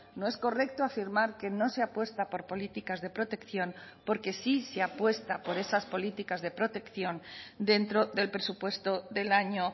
no es correcto afirmar que no se apuesta por políticas de protección porque sí se apuesta por esas políticas de protección dentro del presupuesto del año